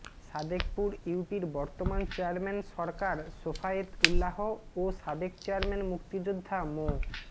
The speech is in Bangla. সাদেকপুর ইউপির বর্তমান চেয়ারম্যান সরকার শেফায়েত উল্লাহ ও সাবেক চেয়ারম্যান মুক্তিযোদ্ধা মো